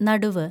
നടുവ്